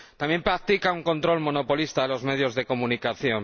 También practica un control monopolista de los medios de comunicación.